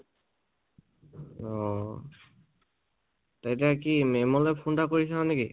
অ । তে এতিয়া কি মে'ম লৈ phone এটা কৰি চাওঁ নেকি?